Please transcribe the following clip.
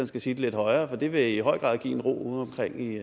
skal sige det lidt højere for det vil i høj grad give en ro udeomkring i